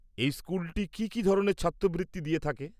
এই স্কুলটি কি কি ধরনের ছাত্রবৃত্তি দিয়ে থাকে?